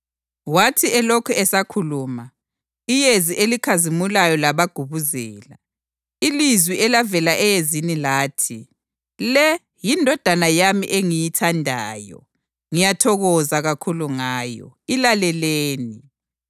Wathi elokhe esakhuluma, iyezi elikhazimulayo labagubuzela, ilizwi elavela eyezini lathi, “Le yiNdodana yami engiyithandayo; ngiyathokoza kakhulu ngayo. Ilaleleni!”